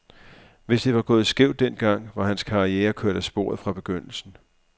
Hvis det var gået skævt den gang, var hans karriere kørt af sporet fra begyndelsen.